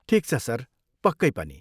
ठिक छ सर, पक्कै पनि।